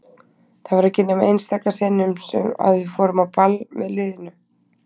Það var ekki nema einstaka sinnum að við fórum á ball með liðinu.